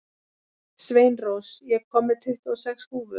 Sveinrós, ég kom með tuttugu og sex húfur!